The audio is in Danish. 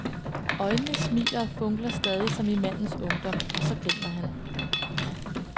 Øjnene smiler og funkler stadig som i mandens ungdom, og så griner han.